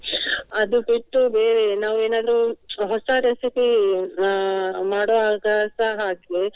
ಅದು ಬಿಟ್ಟು ಬೇರೆ ನಾವು ಏನಾದ್ರೂ ಹೊಸ recipe ಅಹ್ ಮಾಡುವಾಗಸ ಹಾಗೆ.